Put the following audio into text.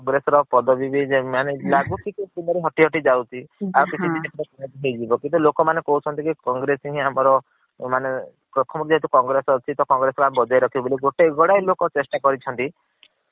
congress ର ପଦବୀ ବି ମାନେ ଅଜାଏ ମାନେ ଲାଗୁଛି କି ପଦରୁ ହଟି ହଟି ଯାଉଛି ହଁ । ଆଉ କିଛି ଦିନ ପରେ ହଟି ଯିବ କିନ୍ତୁ ଲୋକ ମାନେ କହୁଛନ୍ତି କି congress ହି ଆମର ମାନେ ପ୍ରଥମ୍ ରୁ ଯେହେତୁ congress ଅଛି ତ congress କୁ ଆମେ ବଜାଯ ରଖିବୁ ବୋଲି ଗଡାଏ ଲୋକ ଚେସ୍ତା କରିଛନ୍ତି